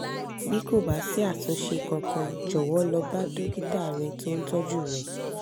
bí kò bá sí àtúnṣe kankan jọ̀wọ́ lọ bá dókítà rẹ tó ń tọ́jú rẹ